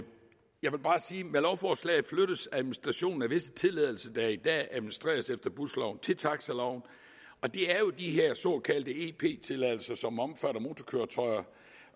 med lovforslaget flyttes administrationen af visse tilladelser der i dag administreres efter busloven til taxiloven og det er jo de her såkaldte ep tilladelser som omfatter motorkøretøjer